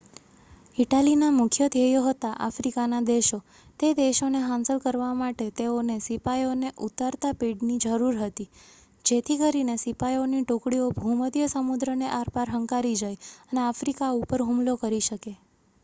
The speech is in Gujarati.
ઇટાલીના મુખ્ય ધ્યેયો હતા આફ્રિકાના દેશો તે દેશોને હાંસલ કરવા માટે તેઓને સિપાઈઓને ઉતારતા પેડની જરૂર હતી જેથી કરીને સિપાઈઓની ટુકડીઓ ભૂમધ્ય સમુદ્રને આરપાર હંકારી જાય અને આફ્રિકા ઉપર હુમલો કરી શકે